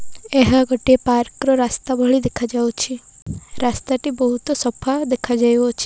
ଏହା ଗୋଟେ ପାର୍କ ର ରାସ୍ତା ଭଳି ଦେଖାଯାଉଛି ରାସ୍ତା ଟି ବୋହୁତ ସଫା ଦେଖାଯାଉ ଅଛି।